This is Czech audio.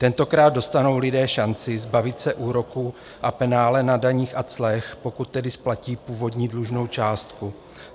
Tentokrát dostanou lidé šanci zbavit se úroku a penále na daních a clech, pokud tedy splatí původní dlužnou částku.